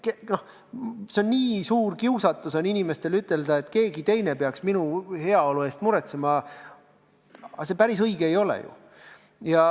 Inimestel on suur kiusatus öelda, et keegi teine peaks minu heaolu eest muretsema, aga see päris õige ei ole ju.